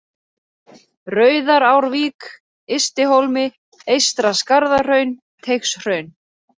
Rauðarárvík, Ystihólmi, Eystra-Skarðahraun, Teigshraun